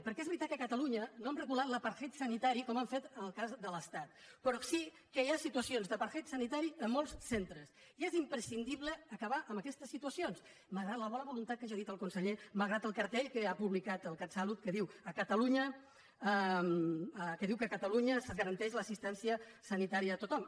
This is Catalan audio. perquè és veritat que a catalunya no hem regulat l’rò sí que hi ha situacions d’apartheid sanitari a molts centres i és imprescindible acabar amb aquestes situacions malgrat la bona voluntat que ja ha dit el conseller malgrat el cartell que ha publicat el catsalut que diu que a catalunya es garanteix l’assistència sanitària a tothom